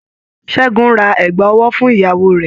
Ṣẹ́gun ra ẹ̀gbà ọwọ́ fún ìyàwó rẹ̀.